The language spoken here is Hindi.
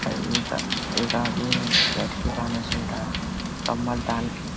और एक अ एक आदमी बैठ के गाना सुन रहा कम्बल टान के --